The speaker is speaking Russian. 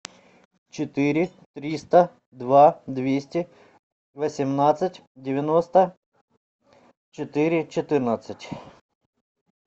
четыре триста два двести восемнадцать девяносто четыре четырнадцать